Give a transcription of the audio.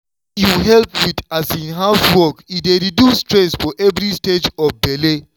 wen you help with um housework e dey reduce stress for every stage of belle.